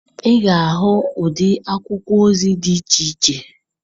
Ị ga-ahụ ụdị akwụkwọ ozi dị iche iche.